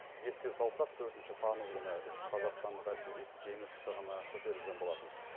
еске салсақ төртінші тамыз күні үш қазақстандық альпинист жеңіс шыңына көтерілген болатын